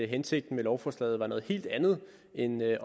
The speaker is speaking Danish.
hensigten med lovforslaget er noget helt andet end det